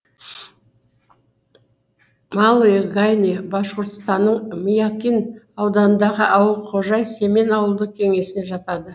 малые гайны башқұртстанның миякин ауданындағы ауыл кожай семен ауылдық кеңесіне жатады